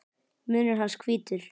Munnur hans hvítur.